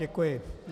Děkuji.